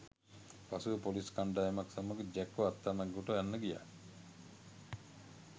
පසුව පොලිස් කණ්ඩායමක් සමග ජැක්ව අත්අඩංගුවට ගන්න ගියා